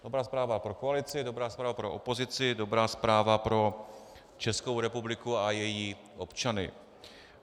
Dobrá zpráva pro koalici, dobrá zpráva pro opozici, dobrá zpráva pro Českou republiku a její občany.